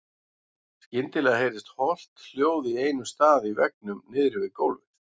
Skyndilega heyrðist holt hljóð á einum stað í veggnum niðri við gólfið.